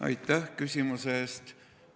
Aitäh küsimuse eest!